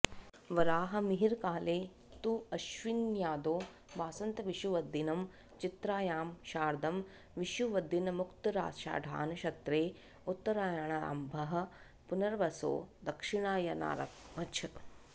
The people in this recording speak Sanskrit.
वराहमिहिरकाले तु अश्विन्यादौ वासन्तविषुवद्दिनं चित्रायां शारदं विषुवद्दिनमुत्तराषाढानक्षत्रे उत्तरायणारम्भः पुनर्वसौ दक्षिणायनारम्भश्च